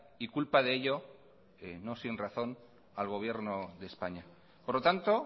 y culpa de ello que no sin razón al gobierno de españa por lo tanto